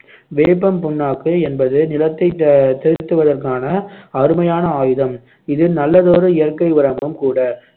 வேப்பம் புண்ணாக்கு என்பது நிலத்தைத் ஆஹ் திருத்துவதற்கான அருமையான ஆயுதம் இது நல்லதொரு இயற்கை உரமும் கூட